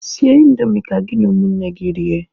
Sie indomi ka gị na ụmụnne gị rie!